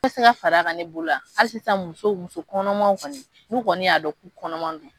Fɛn tɛ se ka fara k'an ne bolo a, hali sisan musow muso kɔnɔmaw kɔni, nu kɔni y'a dɔn k'u kɔnɔman don.